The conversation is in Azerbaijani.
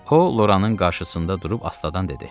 O Loranın qarşısında durub astadan dedi: